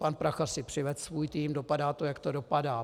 Pan Prachař si přivedl svůj tým, dopadá to, jak to dopadá.